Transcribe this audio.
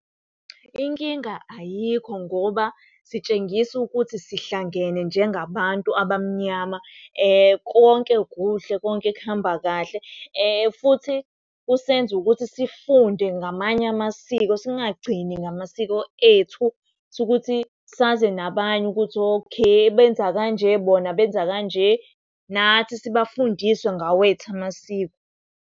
Inkinga ayikho ngoba sitshengisa ukuthi sihlangene njengabantu abamnyama. Konke kuhle konke kuhamba kahle futhi kusenza ukuthi sifunde ngamanye amasiko singagcini ngamasiko ethu. Sukuthi saze nabanye ukuthi, okay benza kanje bona benza kanje nathi sibafundise ngawethu amasiko.